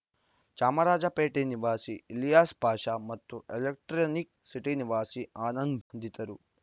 ಚಾಮರಾಜಪೇಟೆ ನಿವಾಸಿ ಇಲಿಯಾಸ್‌ ಪಾಷಾ ಮತ್ತು Electronic City ನಿವಾಸಿ ಆನಂದ್‌ ಬಂಧಿತರು